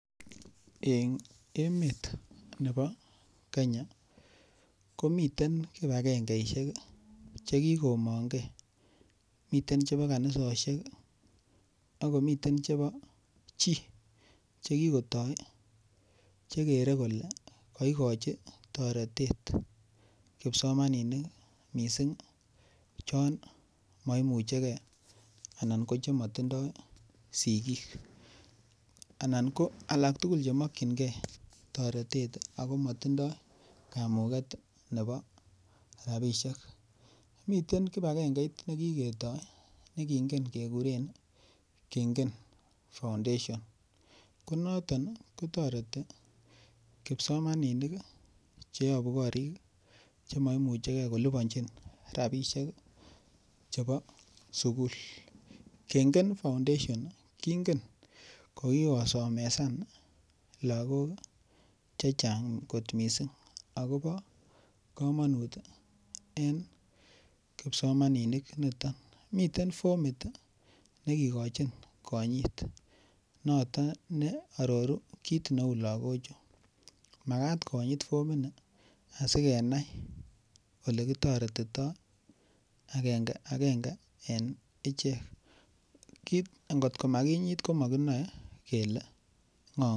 Eng' emet nebo Kenya komiten kipagengeisiek chekikomongei, miten chebo kanisosiek ii, ak komiten chebo chi chekikotoi chekere kole koikochi toretet kipsomaninik missing' ko chon moimuchegei anan ko chemotindoi sikik. Anan ko alak tugul chemokyingei toretet ago motindoi kamuket nebo rabisiek . Miten kipagengeit nekiketoi nekingen kekuren Kengen Foundation, konoton kotoreti kipsomaninik cheyobu gorik cheimoimuchegei koliponjin rabisiek chebo sukul. Kengen Foundation kingen kokikosomesan logok chechang' kot missing' akobo komonut en kipsomaninik niton. Miten fomit nekikochin konyit noton neororu kit neu logochu. Magat konyit fomini asikenai olekitoretitoi agenge agenge en ichek. Ngot komakinyit komokinoe kele ng'o.